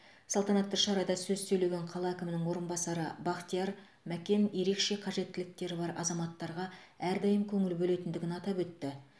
салтанатты шарада сөз сөйлеген қала әкімінің орынбасары бақтияр мәкен ерекше қажеттіліктері бар азаматтарға әрдайым көңіл бөлетіндігін атап өтті